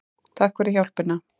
Takk fyrir hjálpina.